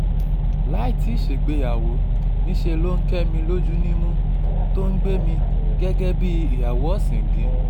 láì tí í ṣègbéyàwó níṣẹ́ ló ń kẹ́ mi lójú nímú tó ò ń gbé mi gẹ́gẹ́ bíi ìyàwó ọ̀ṣìngín